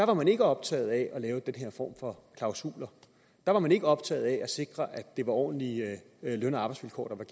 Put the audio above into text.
var man ikke optaget af at lave den her form for klausuler der var man ikke optaget af at sikre at det var ordentlige løn og arbejdsvilkår der